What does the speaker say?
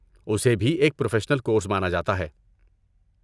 اسے بھی ایک پروفیشنل کورس مانا جاتا ہے۔